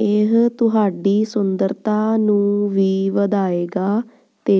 ਇਹ ਤੁਹਾਡੀ ਸੁੰਦਰਤਾ ਨੂੰ ਵੀ ਵਧਾਏਗਾ ਤੇ